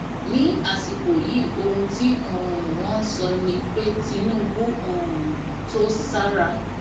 ní àsìkò yìí ohun tí um wọn ń sọ ni pé tinubu um tó sára